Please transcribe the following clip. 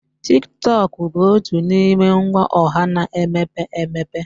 Tiktok bụ otu n'ime ngwa ọha na-emepe emepe.